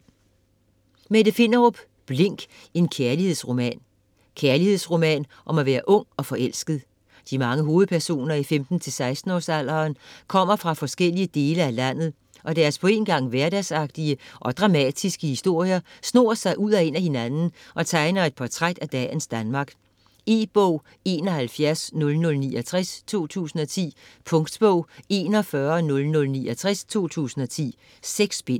Finderup, Mette: Blink: en kærlighedsroman Kærlighedsroman om at være ung og forelsket. De mange hovedpersoner i 15-16 års alderen kommer fra forskellige dele af landet, og deres på en gang hverdagsagtige og dramatiske historier snor sig ud og ind af hinanden og tegner et portræt af dagens Danmark. E-bog 710069 2010. Punktbog 410069 2010. 6 bind.